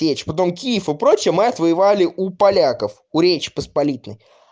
печь потом киев и прочее мы отвоевали у поляков у речи посполитой